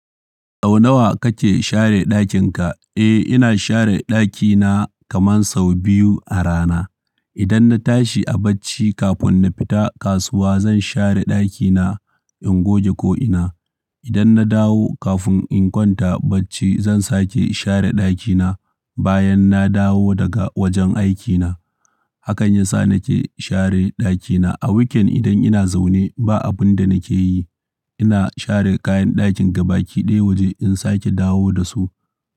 Sau nawa kake share ɗakin ka? Eh, ina share ɗakina kaman sau biyu a rana. Idan na tashi a bacci kafin na fita kasuwa zan share ɗakina in goge ko'ina. Idan na dawo kafin in kwanta bacci zan sake share ɗakina bayan na dawo daga wajen aikina. Hakan yasa nake share ɗakina. A weekend idan ina zaune ba abin da nake yi, ina share kayan ɗakin gabaki ɗaya waje in sake dawo da su.